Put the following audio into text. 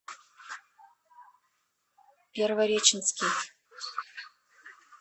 первореченский